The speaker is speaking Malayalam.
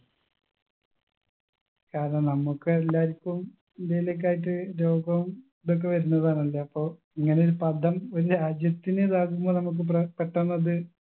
കാരണം നമുക്ക് എല്ലാരിക്കും എന്തേലൊക്കെ ആയിറ്റ് രോഗവും ഇതൊക്കെ വരുന്നതാണല്ലോ അപ്പൊ ഇങ്ങനൊരു പദം ഒരു രാജ്യത്തിന് ഇതാക്കുമ്പോ നമ്മുക്ക് പ്ര പെട്ടെന്നത്